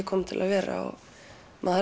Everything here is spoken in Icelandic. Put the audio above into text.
komin til að vera maður